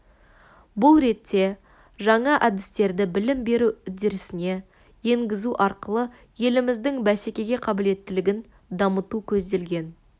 бұл ретте жаңа әдістерді білім беру үдерісіне енгізу арқылы еліміздің бәсекеге қабілеттілігін дамыту көзделген